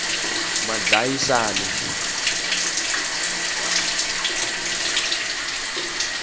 madlayisani